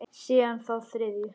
Síðan þá þriðju.